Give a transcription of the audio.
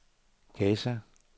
Gaza